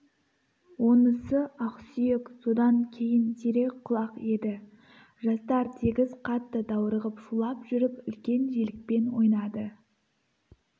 онысы ақсүйек содан кейін серек құлақ еді жастар тегіс қатты даурығып шулап жүріп үлкен желікпен ойнады